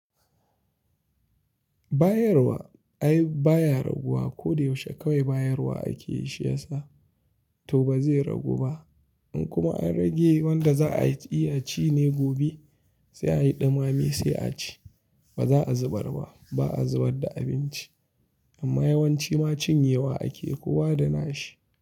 Bayarwa ai baya raguwa. Ko da yaushe kawai bayarwa ake yi shi yasa to ba zai ragu ba. In kuma an rage wanda za a yi, iya ci ne gobe sai a yi dumameb sai a ci. Ba za a zubar ba. Ba a zubar da abinci ba amma yawanci ma cinyewa ake kowa da nashi.